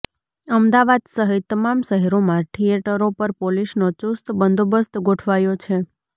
અમદાવાદ સહિત તમામ શહેરોમાં થિયેટરો પર પોલીસનો ચુસ્ત બંદોબસ્ત ગોઠવાયો છે